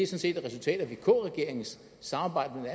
set er resultatet af vk regeringens samarbejde